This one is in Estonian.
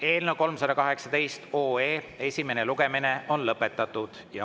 Eelnõu 318 esimene lugemine on lõpetatud.